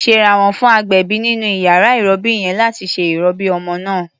Ṣèrànwọ́ fún agbẹ̀bí nínú iyàrá ìrọbí yẹn láti ṣe ìrọbí ọmọ náà.